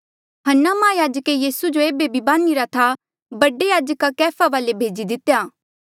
हन्ना माहयाजके यीसू जो ऐबे भी बझिरा था बडा याजका कैफा बडे याजका वाले भेजी दितेया